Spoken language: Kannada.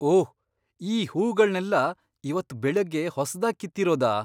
ಓಹ್! ಈ ಹೂಗಳ್ನೆಲ್ಲ ಇವತ್ತ್ ಬೆಳಗ್ಗೆ ಹೊಸ್ದಾಗ್ ಕಿತ್ತಿರೋದಾ?